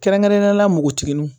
Kɛrɛnkɛrɛnnenya la npogotigininw